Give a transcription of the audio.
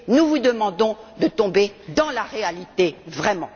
Nous vous demandons de tomber dans la réalité, vraiment!